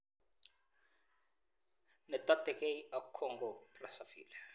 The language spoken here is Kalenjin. Ne totegei ak Congo -Brazzaville